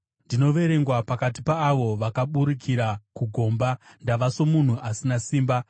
Ndinoverengwa pakati paavo vakaburukira kugomba; ndava somunhu asina simba.